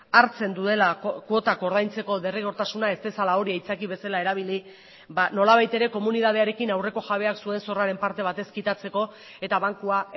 hartzen duela kuotak ordaintzeko derrigortasuna ez dezala hori aitzaki bezala erabili nolabait ere komunitatearekin aurreko jabeak zuen zorraren parte bat ez kitatzeko eta bankua